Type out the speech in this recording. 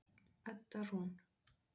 Edda Rún.